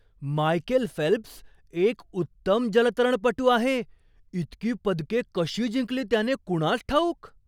Michael Phelps एक उत्तम जलतरणपटू आहे. इतकी पदके कशी जिंकली त्याने कुणास ठाऊक!